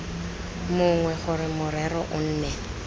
mongwe gore morero o nne